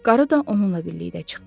Qarı da onunla birlikdə çıxdı.